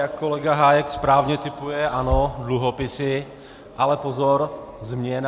Jak kolega Hájek správně tipuje, ano, dluhopisy - ale pozor, změna!